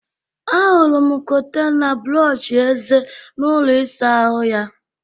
Ahụrụ m kọntena brọọshị eze n'ụlọ ịsa ahụ ya